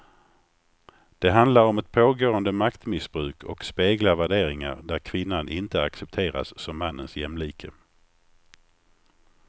Det handlar om ett pågående maktmissbruk och speglar värderingar där kvinnan inte accepteras som mannens jämlike.